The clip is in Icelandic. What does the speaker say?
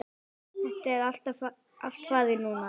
Það er allt farið núna.